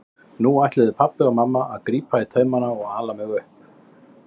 Nú ætluðu pabbi og mamma að grípa í taumana og ala mig upp.